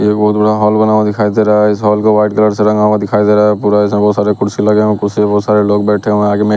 एक बहोत बड़ा हाल बना हुआ दिखाई दे रहा है इस हाल को व्हाइट कलर से रंगा हुआ दिखाई दे रहा है पूरा इसमें बहोत सारे कुर्सी लगे हुए हैं कुर्सी में बहोत सारे लोग बैठे हुए हैं आगे में।